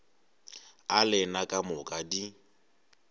a lena ka moka di